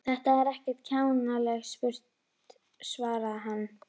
Söðlið hestinn fyrir mig, sagði hann.